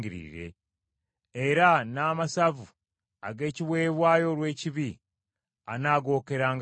Era n’amasavu ag’ekiweebwayo olw’ekibi anaagookeranga ku kyoto.